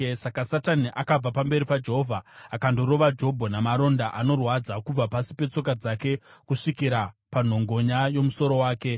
Saka Satani akabva pamberi paJehovha akandorova Jobho namaronda anorwadza kubva pasi petsoka dzake kusvikira panhongonya yomusoro wake.